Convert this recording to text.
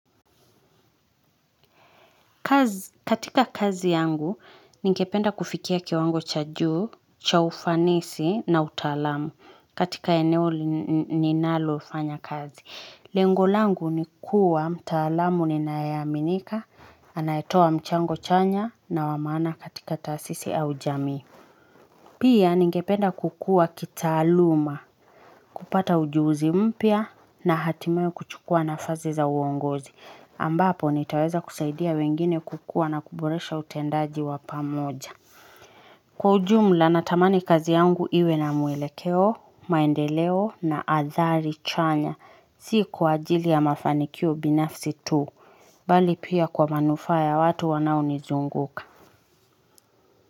Katika kazi yangu, ningependa kufikia kiwango cha juu, cha ufanisi na utalamu katika eneo ninaloufanya kazi. Lengolangu ni kuwa, mtaalamu ninayeaminika, anayetowa mchango chanya na wamana katika tasisi au jami. Pia, ningependa kukua kitaluma, kupata ujuzi mpia na hatimewo kuchukua nafazi za uongozi. Ambapo nitaweza kusaidia wengine kukua na kuboresha utendaji wapamoja Kwa ujumla natamani kazi yangu iwe na muelekeo, maendeleo na athari chanya siku ajili ya mafanikio binafsi tu Bali pia kwa manufa ya watu wanao nizunguka.